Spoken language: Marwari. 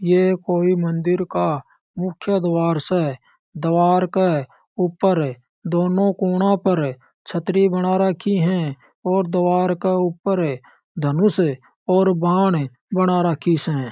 ये कोई मंदिर का मुख्य द्वार से द्वार के ऊपर दोनों कोना पर छतरी बना रखी है और द्वार के ऊपर धनुष और बाण बना राखी से।